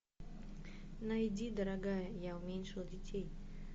найди дорогая я уменьшил детей